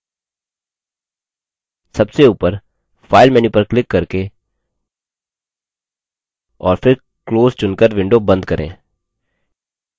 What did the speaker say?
सबसे ऊपर file menu पर क्लिक करके और फिर close चुनकर window बंद करें